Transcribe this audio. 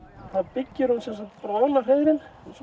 þá byggir hún ofan á hreiðrin